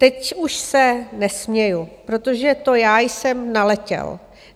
Teď už se nesměji, protože to já jsem naletěl.